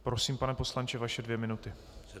Prosím, pane poslanče, vaše dvě minuty.